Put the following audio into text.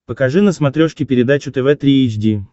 покажи на смотрешке передачу тв три эйч ди